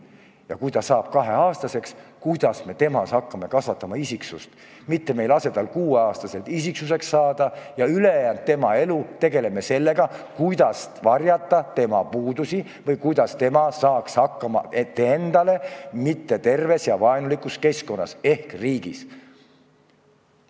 Ja kui ta saab kaheaastaseks, vaatame, kuidas me hakkame kasvatama temast isiksust, mitte ei lase saada tal kuueaastaselt isiksuseks, nii et tema ülejäänud elu peaks tegelema sellega, kuidas varjata tema puudusi või kuidas ta saaks hakkama ebaterves ja vaenulikus keskkonnas ehk riigis.